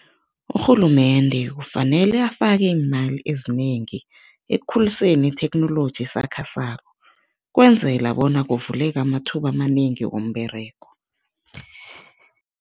Urhulumende kufanele afake iimali ezinengi ekukhuliseni itheknoloji esakhasako ukwenzela bona kuvuleke amathuba amanengi womberego.